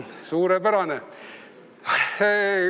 – suurepärane!